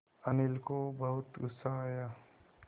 अनिल को बहुत गु़स्सा आया